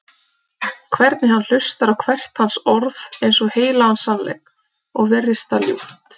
Hvernig hann hlustar á hvert hans orð eins og heilagan sannleik, og virðist það ljúft.